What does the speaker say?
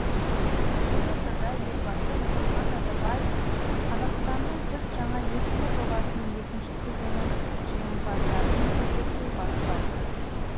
елордада елбасы нұрсұлтан назарбаевтың қазақстанның жүз жаңа есімі жобасының екінші кезеңі жеңімпаздарымен кездесуі басталды